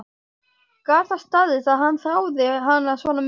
Gat það staðist að hann þráði hana svona mikið?